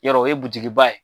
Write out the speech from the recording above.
Yɔrɔ o ye ye ?